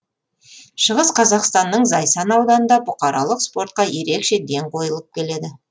шығыс қазақстанның зайсан ауданында бұқаралық спортқа ерекше ден қойылып келеді